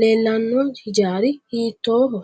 leelanno hijaari hiitooho